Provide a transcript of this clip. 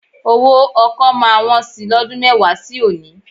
Owó ọkọ́ máa wọn sí i lọ́dún mẹ́wàá sí òní